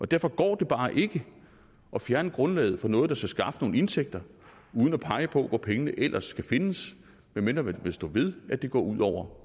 derfor går det bare ikke at fjerne grundlaget for noget der skal skaffe nogle indtægter uden at pege på hvor pengene ellers skal findes medmindre man vil stå ved at det går ud over